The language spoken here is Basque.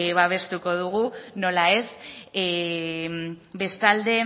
babestuko dugu nola ez bestalde